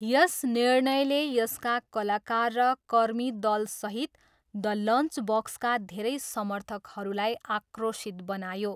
यस निर्णयले यसका कलाकार र कर्मीदलसहित द लन्चबक्सका धेरै समर्थकहरूलाई आक्रोशित बनायो।